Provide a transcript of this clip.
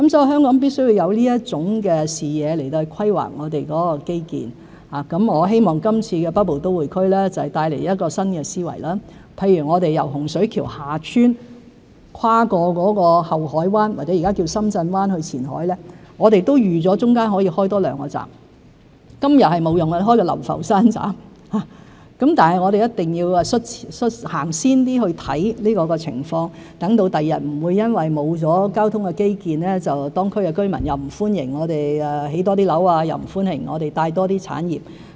香港必須有這種視野來規劃基建，我希望北部都會區計劃會帶來新思維，譬如我們由洪水橋/厦村跨過后海灣——或是現時稱為深圳灣——去前海，我們預計了中間可以多建兩個站，例如流浮山站，雖然今日沒有用途，但我們一定要走前一點看這個情況，讓日後不會因為沒有交通基建而令當區區民不歡迎我們興建多些樓宇，又不歡迎我們引入多些產業。